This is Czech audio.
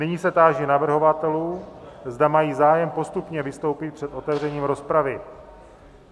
Nyní se táži navrhovatelů, zda mají zájem postupně vystoupit před otevřením rozpravy.